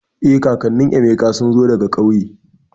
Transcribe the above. Eh, kakannin Emeka sun zo daga kauye